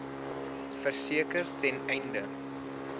verseker ten einde